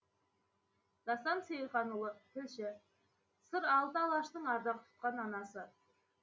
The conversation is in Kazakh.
дастан сейілханұлы тілші сыр алты алаштың ардақ тұтқан анасы